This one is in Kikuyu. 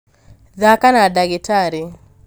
thaka na ndagĩtarĩ